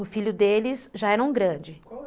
O filho deles já era um grande.